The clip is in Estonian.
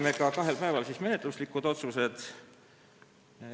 Me tegime kahel päeval ka menetluslikud otsused.